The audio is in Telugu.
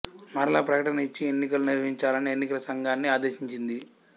మరల ప్రకటన ఇచ్చి ఎన్నికలు నిర్వహించాలని ఎన్నికల సంఘాన్ని ఆదేశించింది